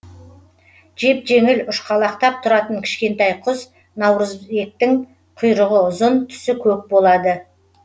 жеп жеңіл ұшқалақтап тұратын кішкентай құс наурызектің құйрығы ұзын түсі көк болады